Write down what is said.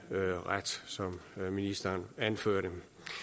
som ministeren anførte